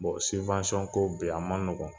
ko bi a ma nɔgɔn.